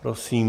Prosím.